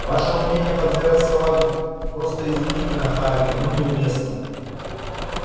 ваше умение подбирать слова просто изумительно хардин но неуместно